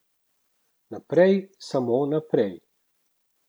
Naprej, samo naprej.